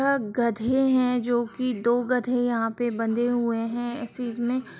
यह गधे हैं जो की दो गधे यहां पे बंधे हुए हैं एक चीज़ में।